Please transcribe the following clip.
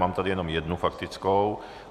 Mám tady jenom jednu faktickou.